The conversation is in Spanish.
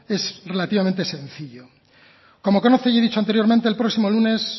es relativamente sencillo como conoce y he dicho anteriormente el próximo lunes